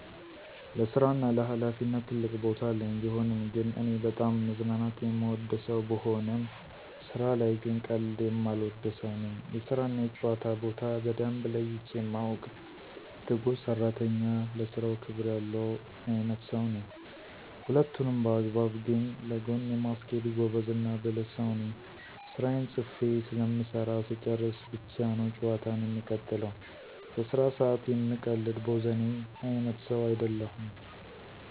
ለስራ እና ለሀላፊነት ትልቅ ቦታ አለኝ። ቢሆንም ግን እኔ በጣም መዝናናት የምወድ ሰው ብሆንም ስራ ላይ ግን ቀልድ የማልወድ ሰው ነኝ። የስራ እና የጨዋታ ቦታ በደንብ ለይቼ ማውቅ፤ ትጉህ ሰራተኝ፤ ለስራው ክብር ያለው አይነትሰው ነኝ። ሁለቱንም በአግባብ ግን ለጎን የማስኬድ ጎበዝ እና ብልህ ሰው ነኝ። ስራየን ፅፌ ስለምሰራ ስጨርስ ብቻ ነው ጨዋታን የምቀጥለው። በስራ ሰአት የምቀልድ ቦዘኔ አይነት ሰው አይደለሁም።